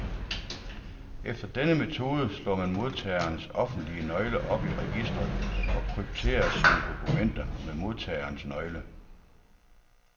Efter denne metode slår man modtagerens offentlige nøgle op i registret, og krypterer sine dokumenter med modtagerens nøgle.